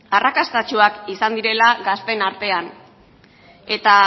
arrakastatsuak izan direla gazteen artean eta